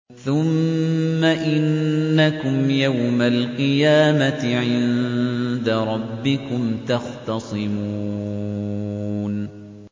ثُمَّ إِنَّكُمْ يَوْمَ الْقِيَامَةِ عِندَ رَبِّكُمْ تَخْتَصِمُونَ